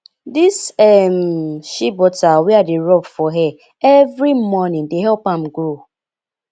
dis um shea butter wey i dey rob for hair every morning dey help am grow